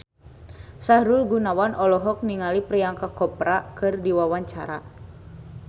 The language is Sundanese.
Sahrul Gunawan olohok ningali Priyanka Chopra keur diwawancara